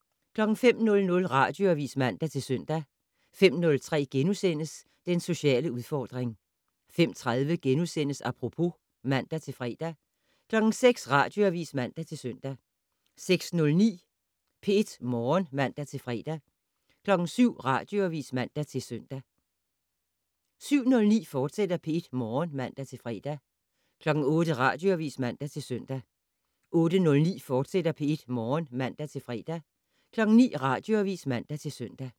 05:00: Radioavis (man-søn) 05:03: Den sociale udfordring * 05:30: Apropos *(man-fre) 06:00: Radioavis (man-søn) 06:09: P1 Morgen (man-fre) 07:00: Radioavis (man-søn) 07:09: P1 Morgen, fortsat (man-fre) 08:00: Radioavis (man-søn) 08:09: P1 Morgen, fortsat (man-fre) 09:00: Radioavis (man-søn)